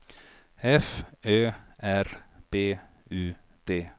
F Ö R B U D